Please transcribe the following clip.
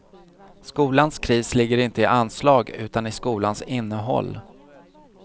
Skolans kris ligger inte i anslag utan i skolans innehåll.